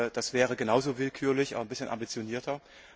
Das wäre genauso willkürlich, aber ein bisschen ambitionierter.